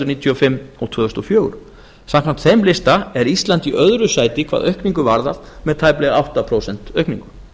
níutíu og fimm og tvö þúsund og fjögur samkvæmt þeim lista er ísland í öðru sæti hvað aukningu varðar með tæplega átta prósent aukningu